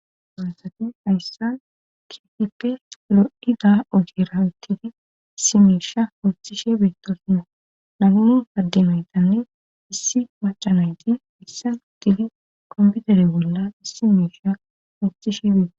donsati hayssa kifippe lo7ida otirawottidi issi miisha osthishe beetosno namuu haddimaytanne issi macanayti issaudidi komputere bolla issi miisha hostishe beeo